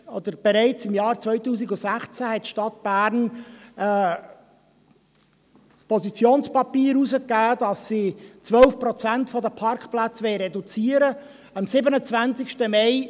Bereits im Jahr 2016 hat die Stadt Bern ein Positionspapier herausgegeben, dass sie 12 Prozent der Parkplätze reduzieren wolle.